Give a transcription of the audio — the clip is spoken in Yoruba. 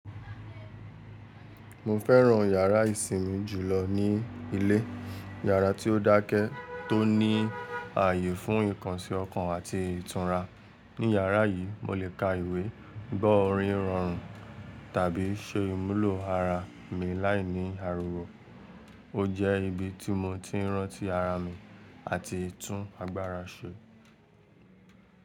Mo fẹ́ràn yàrá ìsinmi jùlọ ní ilé. Yàrá tí ó dákẹ́ tó ní ààyè fún ìkànsí ọkàn àti ìtúnu. Ní yàrá yìí, mo lè ka ìwé, gbọ́ orin rọrùn tàbí se ìmúlò ara mi láìní àriwo. Ó jẹ́ ibi tí mo ti ń rántí ara mi àti tún agbára ṣe.